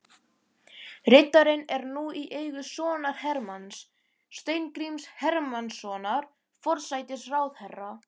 Riddarinn er nú í eigu sonar Hermanns, Steingríms Hermannssonar forsætisráðherra.